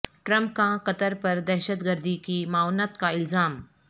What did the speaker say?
Trump کا Qatar پر دہشت گردی کی معاونت کا الزام